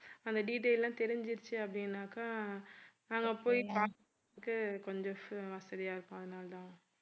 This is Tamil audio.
அந்த detail எல்லாம் தெரிஞ்சிருச்சு அப்படின்னாக்கா நாங்க போய் பாக்கறதுக்கு கொஞ்சம் வச~ வசதியா இருக்கும் அதனாலதான்